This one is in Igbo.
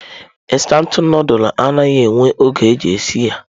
Instantụ nudulu anaghị ewe oge iji sie ya.